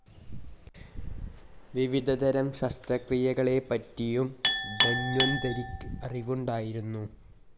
വിവിധതരം ശസ്‌ത്രക്രിയകളെപ്പറ്റിയും ധന്വന്തരിക്ക്‌ അറിവുണ്ടായിരുന്നു.